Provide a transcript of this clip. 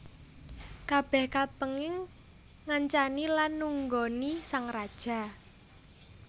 Kabèh kapéngin ngancani lan nunggoni sang raja